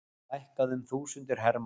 Fækkað um þúsundir hermanna